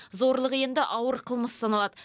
зорлық енді ауыр қылмыс саналады